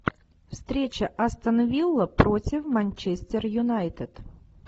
встреча астон вилла против манчестер юнайтед